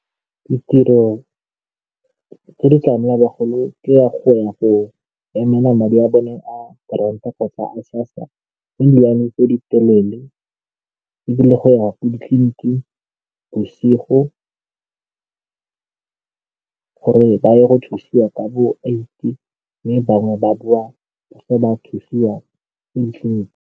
Ditiro tse di tlamela bagolo ke ya go ya go emela madi a bone a grant-a kgotsa a SASSA le di-line tse di telele ebile go ya ko ditleliniking bosigo gore ba ye go thusiwa ka bo-eight-e mme bangwe ba boa ba se ba thusiwa ko ditleliniking.